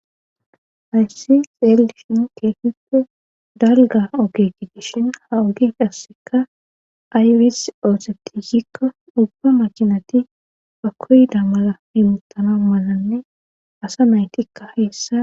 Hayssi xeeldishin keefippe dalga ogeki dishin ha ogef asseka aywis ooseti yikko ubba machinati ba koyda mala himutana malanne asa maytikka heessa.